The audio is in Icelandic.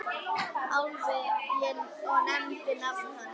Álfi og nefndi nafn hans.